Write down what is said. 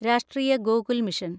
രാഷ്ട്രീയ ഗോകുൽ മിഷൻ